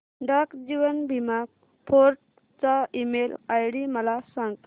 डाक जीवन बीमा फोर्ट चा email ID मला सांग